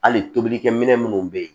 Hali tobilikɛminɛn minnu bɛ yen